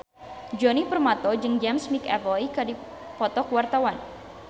Djoni Permato jeung James McAvoy keur dipoto ku wartawan